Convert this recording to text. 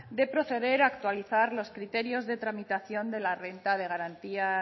de proceder a actualizar los criterios de tramitación de la renta de garantía